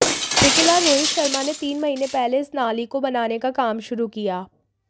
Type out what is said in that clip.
ठेकेदार रोहित शर्मा ने तीन महीने पहले इस नाली को बनाने का काम शुरू किया